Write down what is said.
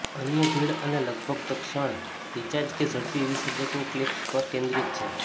અન્ય ભીડ અને લગભગ તત્ક્ષણ રિચાર્જ કે ઝડપી વિસર્જકો ક્લિપ્સ પર કેન્દ્રિત છે